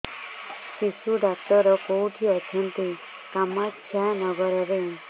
ଶିଶୁ ଡକ୍ଟର କୋଉଠି ଅଛନ୍ତି କାମାକ୍ଷାନଗରରେ